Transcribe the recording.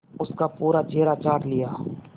उसका पूरा चेहरा चाट लिया